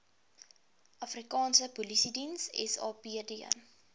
afrikaanse polisiediens sapd